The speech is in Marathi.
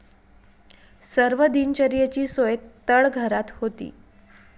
सर्व दिनचर्येची सोय तळघरात होती.